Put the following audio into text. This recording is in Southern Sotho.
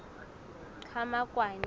qhamakwane